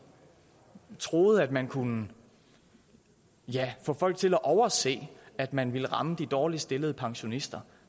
troede at man kunne få folk til at overse at man ville ramme de dårligst stillede pensionister